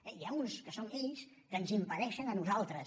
n’hi ha uns que són ells que ens impedeixen a nosaltres